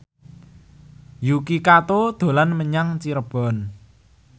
Yuki Kato dolan menyang Cirebon